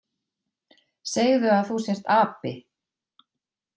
Segðu að þú sért api!